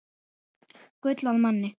Gull að manni.